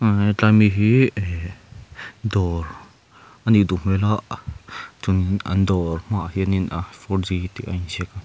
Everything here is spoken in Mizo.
umm tlai mi hi eh dawr a nih duh hmel a an dawr hmaah hianin ah four g tih a in ziak a.